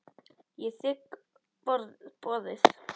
Ég þigg boðið.